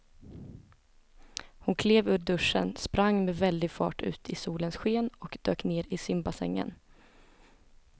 Hon klev ur duschen, sprang med väldig fart ut i solens sken och dök ner i simbassängen.